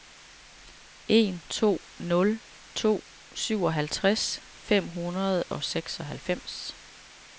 en to nul to syvoghalvfjerds fem hundrede og seksoghalvfems